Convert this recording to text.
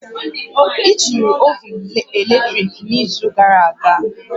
I jiri ovun latrik n'izu gara aga?